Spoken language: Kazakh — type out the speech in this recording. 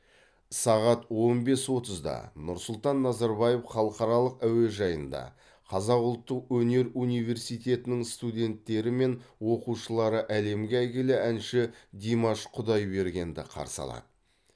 сағат он бес отызда нұрсұлтан назарбаев халықаралық әуежайында қазақ ұлттық өнер университетінің студенттері мен оқытушылары әлемге әйгілі әнші димаш құдайбергенді қарсы алады